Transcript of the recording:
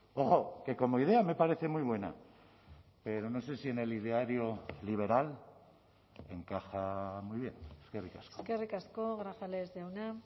ojo que como idea me parece muy buena pero no sé si en el ideario liberal encaja muy bien eskerrik asko eskerrik asko grajales jauna